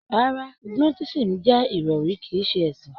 Rárá, Gnotisísìm jẹ́ ìròrí kìí ṣe ẹ̀sìn.